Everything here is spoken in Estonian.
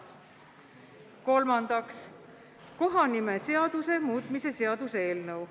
Kolmandaks, kohanimeseaduse muutmise seaduse eelnõu.